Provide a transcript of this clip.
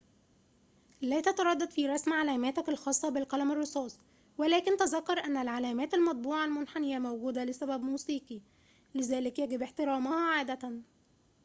لا تتردد في رسم علاماتك الخاصة بالقلم الرصاص ولكن تذكر أن العلامات المطبوعة المنحنية موجودة لسبب موسيقي لذلك يجب احترامها عادة